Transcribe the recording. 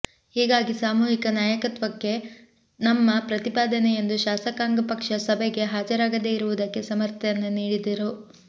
ಹೀಗಾಗಿ ಸಾಮೂಹಿಕ ನಾಯಕತ್ವಕ್ಕೆ ನಮ್ಮ ಪ್ರತಿಪಾದನೆ ಎಂದು ಶಾಸಕಾಂಗ ಪಕ್ಷ ಸಭೆಗೆ ಹಾಜರಾಗದೇ ಇರುವುದಕ್ಕೆ ಸಮರ್ಥನೆ ನೀಡಿದರು